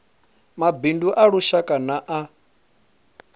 mabindu a lushaka na a